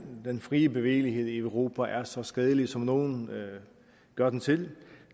den fri bevægelighed i europa er så skadelig som nogle gør den til